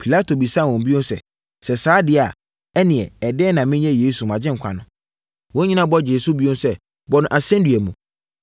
Pilato bisaa wɔn bio sɛ, “Sɛ saa deɛ a, ɛnneɛ ɛdeɛn na menyɛ Yesu, mo Agyenkwa no?” Wɔn nyinaa bɔ gyee so bio sɛ, “Bɔ no asɛnnua mu!”